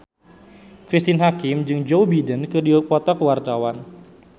Cristine Hakim jeung Joe Biden keur dipoto ku wartawan